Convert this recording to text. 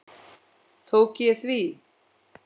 Tók ég því?